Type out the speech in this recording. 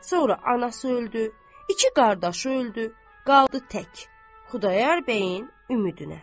Sonra anası öldü, iki qardaşı öldü, qaldı tək Xudayar bəyin ümidinə.